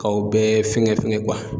Kaw bɛɛ fɛngɛ fɛngɛ